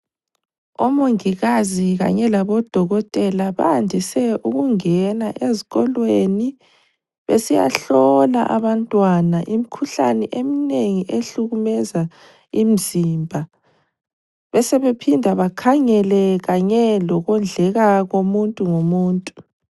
Omongikazi kanye labodokotela bayandise ukungena ezikolweni besiyahlola abantwana imikhuhlane eminengi ehlukumeza imizimba, besebephinda bakhangele kanye lokondleka komuntu ngomuntu.